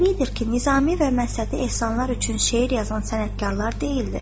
Təbiidir ki, Nizami və Məsədi ehsanlar üçün şeir yazan sənətkarlar deyildir.